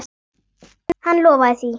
Hann lofaði því.